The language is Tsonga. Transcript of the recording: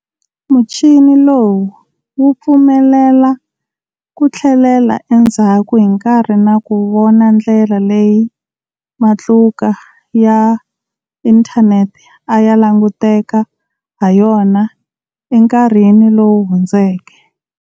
Muchini lowu wu pfumelela ku tlhelela endzhaku hi nkarhi na ku vona ndlela leyi matluka ya inthaneti a ya languteka ha yona enkarhini lowu hundzeke.